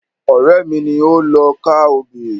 Ọ̀rẹ́ mi ni ó lọ ká obì.